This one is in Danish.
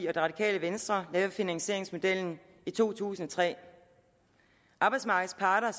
og det radikale venstre lavede finansieringsmodellen i to tusind og tre arbejdsmarkedets parter